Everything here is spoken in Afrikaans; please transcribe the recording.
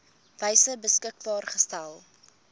wyse beskikbaar gestel